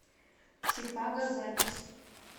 чикаго запись